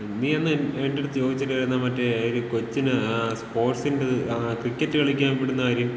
നീ അന്ന് എന്‍റെയടുത്ത് ചോദിച്ചില്ലാരുന്ന മറ്റേ ഒരു കൊച്ചിനെ സ്പോർട്സിന്‍റേത്, ക്രിക്കറ്റ് കളിക്കാൻ വിടുന്ന കാര്യം.